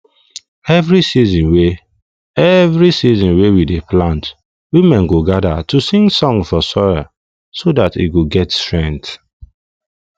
every season wey every season wey we dey plant women go gather to sing song for soil so that e go get strength